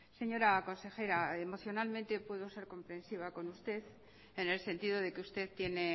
señora consejera emocionalmente puedo ser comprensiva con usted en el sentido de que usted tiene